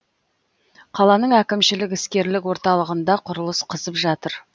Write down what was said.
қаланың әкімшілік іскерлік орталығында құрылыс қызып жатыр